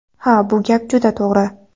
Ha, bu gap juda to‘g‘ri,.